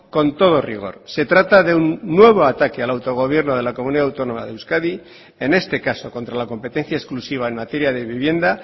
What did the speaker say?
con todo rigor se trata de un nuevo ataque al autogobierno de la comunidad autónoma de euskadi en este caso contra la competencia exclusiva en materia de vivienda